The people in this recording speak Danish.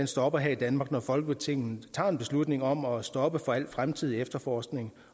stopper i danmark når folketinget tager en beslutning om at stoppe for al fremtidig efterforskning